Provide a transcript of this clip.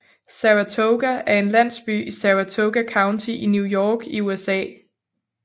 Saratoga er en landsby i Saratoga County i New York i USA